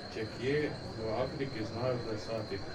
Če kje, v Afriki znajo plesati!